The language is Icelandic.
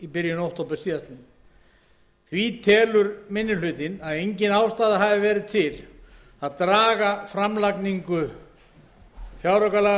byrjun október síðastliðinn því telur minni hlutinn að engin ástæða hafi verið til að draga framlagningu fjáraukalagafrumvarpsins